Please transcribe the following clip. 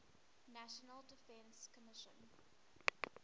national defense commission